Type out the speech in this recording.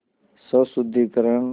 स्वशुद्धिकरण